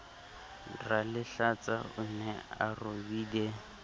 ralehlatsa o ne a robile